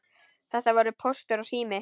Þetta voru Póstur og Sími.